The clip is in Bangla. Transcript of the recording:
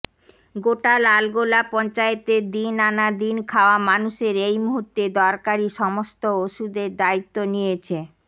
গোটা লালগোলা পঞ্চায়েতের দিন আনা দিন খাওয়া মানুষের এই মুহূর্তে দরকারি সমস্ত ওষুধের দায়িত্ব নিয়েছে